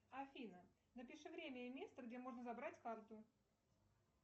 афина напиши время и место где можно забрать карту